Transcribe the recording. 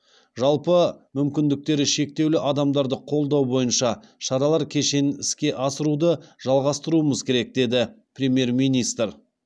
жалпы мүмкіндіктері шектеулі адамдарды қолдау бойынша шаралар кешенін іске асыруды жалғастыруымыз керек деді премьер министр